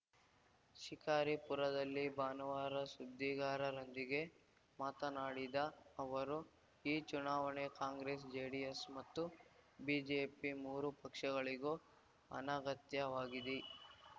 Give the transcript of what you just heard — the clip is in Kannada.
ಶಿಕಾರಿಪುರದಲ್ಲಿ ಭಾನುವಾರ ಸುದ್ದಿಗಾರರೊಂದಿಗೆ ಮಾತನಾಡಿದ ಅವರು ಈ ಚುನಾವಣೆ ಕಾಂಗ್ರೆಸ್‌ ಜೆಡಿಎಸ್‌ ಮತ್ತು ಬಿಜೆಪಿ ಮೂರು ಪಕ್ಷಗಳಿಗೂ ಅನಗತ್ಯವಾಗಿದೆ